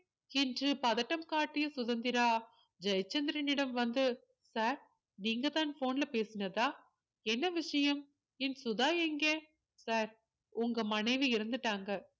என்று பதட்டம் காட்டிய சுதந்திரா ஜெயச்சந்திரனிடம் வந்து sir நீங்கதான் phone ல பேசினதா என்ன விஷயம் என் சுதா எங்கே sir உங்க மனைவி இறந்துட்டாங்க